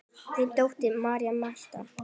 Þín dóttir, María Marta.